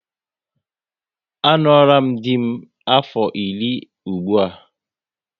A ṅụọram dị m afọ iri ụgbụa